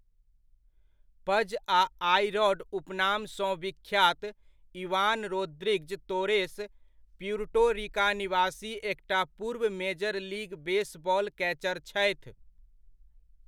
पज' आ 'A Rod' उपनामसँ विख्यात Ivan Rodriguez Torres, Puerto Rico निवासी एकटा पूर्व मेजर लीग बेसबॉल कैचर छथि।